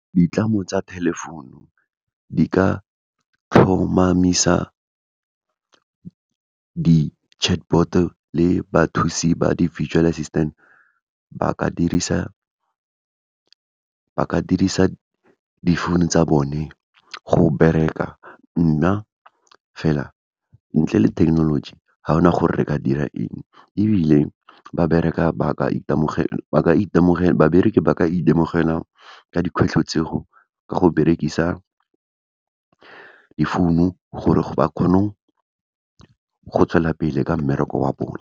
Ditlamo tsa telephone-u, di ka tlhomamisa di-chatbot-o, le bathusi ba di-virtual assistant, ba ka dirisa difounu tsa bone, go bereka. Nna fela, ntle le thekenoloji, ga gona gore re ka dira eng, ebile babereki ba ka itemogela ka dikgwetlho tseo, ka go berekisa difounu, gore ba kgone go tswelela pele ka mmereko wa bone.